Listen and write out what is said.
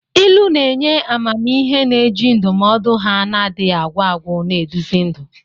Ilu na-enye amamihe, na-eji ndụmọdụ ha na-adịghị agwụ agwụ na-eduzi ndụ.